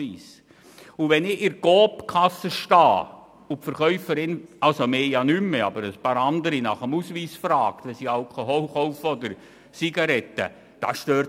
Und es stört sich doch kein Mensch daran, dass die Verkäuferin an der Coop-Kasse nach einem Ausweis fragt, wenn man Alkohol oder Zigaretten kauft;